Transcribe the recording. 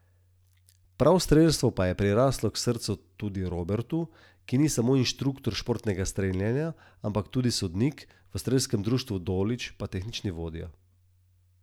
Prav strelstvo pa je priraslo k srcu tudi Robertu, ki ni samo inštruktor športnega streljanja, ampak tudi sodnik, v Strelskem društvu Dolič pa tehnični vodja.